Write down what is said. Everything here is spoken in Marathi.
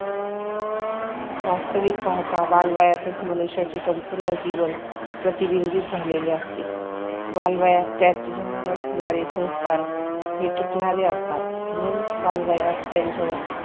वास्तविक पाहता बालवयातच मनुष्याचे संपूर्ण जीवन प्रतिबिंबित झालेले असते. बालवयात त्याच्यावर होणारे संस्कार हे टिकणारे असतात. म्हणून बालवयात त्यांच्यावर